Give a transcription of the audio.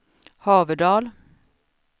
Haverdal